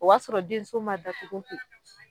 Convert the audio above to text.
O b'a sɔrɔ denso ma datugu ten,